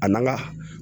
A n'an ka